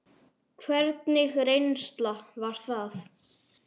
Hvernig reynsla var það?